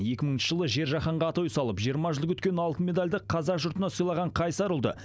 екі мыңыншы жылы жер жаһанға атой салып жиырма жыл күткен алтын медальді қазақ жұртына сыйлаған қайсар ұлды